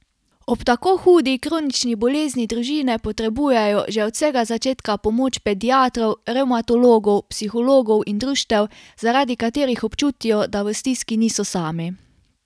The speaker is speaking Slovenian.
Ob tako hudi kronični bolezni družine potrebujejo že od vsega začetka pomoč pediatrov, revmatologov, psihologov in društev, zaradi katerih občutijo, da v stiski niso sami.